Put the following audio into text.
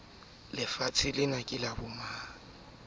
sefahleho ka keketso kamehla o